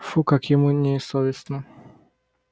фуй как ему не софестно